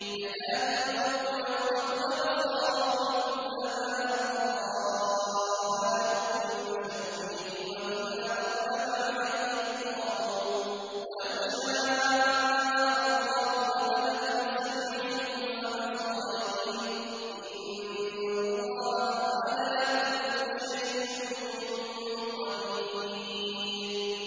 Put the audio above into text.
يَكَادُ الْبَرْقُ يَخْطَفُ أَبْصَارَهُمْ ۖ كُلَّمَا أَضَاءَ لَهُم مَّشَوْا فِيهِ وَإِذَا أَظْلَمَ عَلَيْهِمْ قَامُوا ۚ وَلَوْ شَاءَ اللَّهُ لَذَهَبَ بِسَمْعِهِمْ وَأَبْصَارِهِمْ ۚ إِنَّ اللَّهَ عَلَىٰ كُلِّ شَيْءٍ قَدِيرٌ